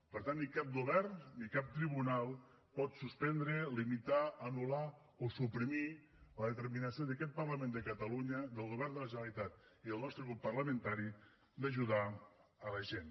per tant ni cap govern ni cap tribunal pot suspendre limitar anul·lar o suprimir la determinació d’aquest parlament de catalunya del govern de la generalitat i del nostre grup parlamentari d’ajudar la gent